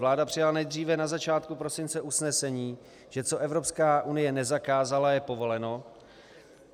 Vláda přijala nejdříve na začátku prosince usnesení, že co Evropská unie nezakázala, je povoleno.